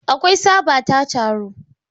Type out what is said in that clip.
Akwai tsaba ta taro.